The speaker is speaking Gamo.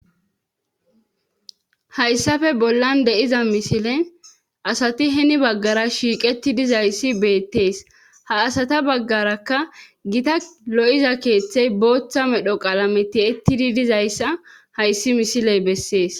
hayssafe bollan de7iza misile asati heni baggara shiiqeti dizayssi beettees ha asata baggarakka gita lo7iza keeththey booththa medho qalame tiyettidi dizayssa hayssi misiley bessees